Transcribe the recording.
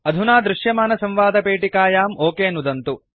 अधुना दृश्यमानसंवादपेटिकायां ओक नुदन्तु